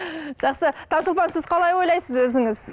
жақсы таңшолпан сіз қалай ойлайсыз өзіңіз